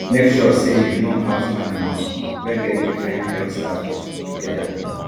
make sure say you no house animals wey get different health status together